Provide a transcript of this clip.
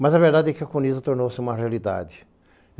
Mas a verdade é que a counisa tornou-se uma realidade.